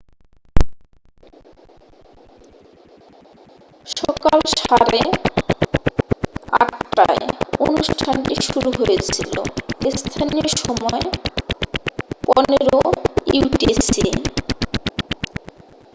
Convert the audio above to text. সকাল সাড়ে 8:30 টায় অনুষ্ঠানটি শুরু হয়েছিল। স্থানীয় সময় 15.00 utc।